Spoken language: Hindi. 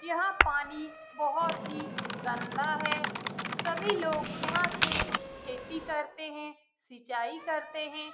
यहाँ पानी बहुत ही गंदा है सभी लोग यहाँ से खेती करते हैं सिंचाई करते हैं।